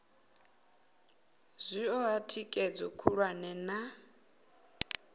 zwi oa thikhedzo khulwane na